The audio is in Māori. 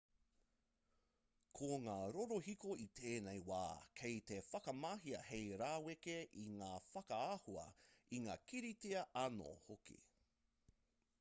ko ngā rorohiko i tēnei wā kei te whakamahia hei raweke i ngā whakaahua i ngā kiriata anō hoki